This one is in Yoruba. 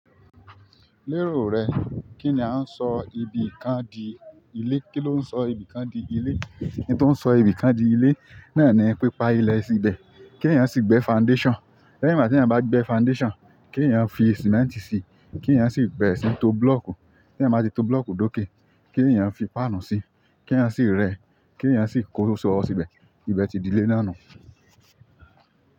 Lérò rẹ kín ní a ń sọ ibìkan di ilé? Kí ló ń sọ ibìkan di ilé? Ohun tó ń sọ ibìkan di ilé náà ni pipa ilẹ̀ síbẹ̀, kí ènìyàn sì gbé foundation. Lẹ́yìn bá tí ènìyàn bá gbé foundation, kí ènìyàn fi cement si, kí ènìyàn sì bẹ̀rẹ̀ síí to block. Kí ènìyàn máa ti to block dókè, kí ènìyàn fi páànù sí, kí ènìyàn sì rẹ́, kí ènìyàn sì kó sọ́ọ̀ síbẹ̀. Ìbẹ̀ ti di ilé náà nù.